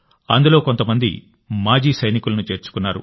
అందులో కొంతమంది మాజీ సైనికులను చేర్చుకున్నారు